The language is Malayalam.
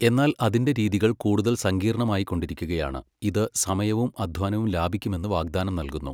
എന്നാൽ അതിന്റെ രീതികൾ കൂടുതൽ സങ്കീർണ്ണമായിക്കൊണ്ടിരിക്കുകയാണ് ഇത് സമയവും അധ്വാനവും ലാഭിക്കുമെന്ന് വാഗ്ദാനം നൽകുന്നു.